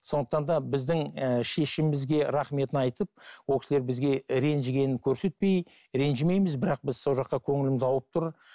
сондықтан да біздің ііі шешімімізге рахметін айтып ол кісілер бізге ренжігенін көрсетпей ренжімейміз бірақ біз сол жаққа көңіліміз ауып тұр